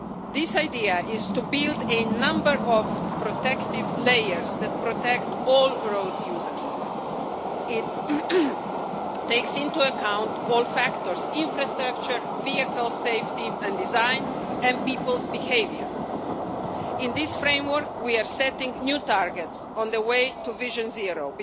This idea is to build a number of protective layers that protect all road users. It takes into account all factors infrastructure, vehicle safety and design, and people's behaviour. In this framework, we are setting new targets on the way to Vision Zero.